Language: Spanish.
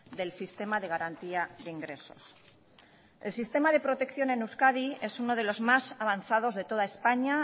del sistema de garantía de ingresos el sistema de protección en euskadi es uno de los más avanzados de toda españa